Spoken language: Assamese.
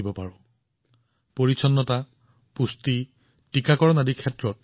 পুৰীৰ ৰাহুল হওঁক বা নাছিকৰ চন্দ্ৰকিশোৰ হওঁক তেওঁলোকে আমাৰ সকলোকে বহুত কথা শিকাইছে